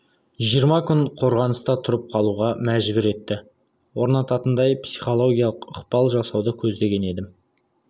жиырма күн қорғаныста тұрып қалуға мәжбүр етті орнататындай психологиялық ықпал жасауды көздеген едім